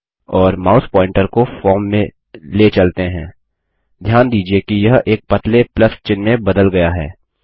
और mouse pointer को form में ले चलते हैं ध्यान दीजिये कि यह एक पतले प्लस चिह्न में बदल गया है